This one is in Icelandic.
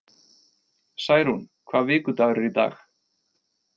Særún, hvaða vikudagur er í dag?